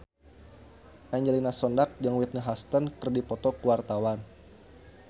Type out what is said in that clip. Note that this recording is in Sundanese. Angelina Sondakh jeung Whitney Houston keur dipoto ku wartawan